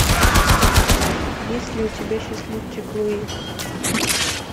есть ли у тебя счастливчик луи